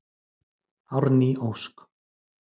Árný Ósk.